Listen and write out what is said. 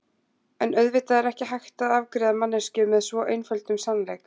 En auðvitað er ekki hægt að afgreiða manneskju með svo einföldum sannleik.